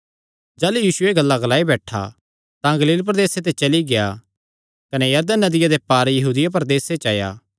जाह़लू यीशु एह़ गल्लां ग्लाई बैठा तां गलील प्रदेसे ते चली गेआ कने यरदन नदिया दे पार यहूदिया प्रदेसे च आया